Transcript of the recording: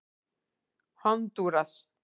Hondúras